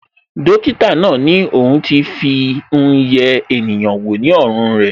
Dókítà náà ni ohun ti won Fi hun ye eniyan wo ní ọrùn re